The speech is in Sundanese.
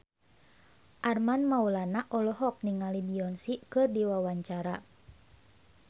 Armand Maulana olohok ningali Beyonce keur diwawancara